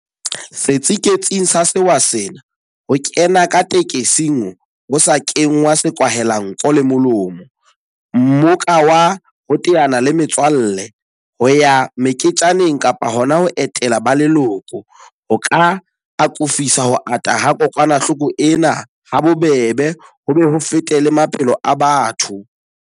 Setsiketsing sa sewa sena, ho kena ka tekesing ho sa kenngwa sekwahelanko le molomo, mmoka wa ho teana le metswalle, ho ya meketjaneng kapa hona ho etela ba leloko, ho ka akofisa ho ata ha kokwanahloko ena habobebe ho be ho fete le maphelo a batho.